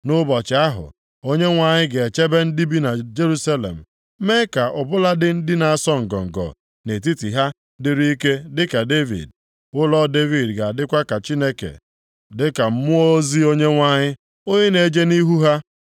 Nʼụbọchị ahụ, Onyenwe anyị ga-echebe ndị bi na Jerusalem, mee ka ọ bụladị ndị na-asọ ngọngọ nʼetiti ha dịrị ike dịka Devid. Ụlọ Devid ga-adịkwa ka Chineke, dịka Mmụọ ozi Onyenwe anyị, onye na-eje nʼihu ha.